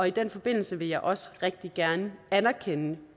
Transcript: i den forbindelse vil jeg også rigtig gerne anerkende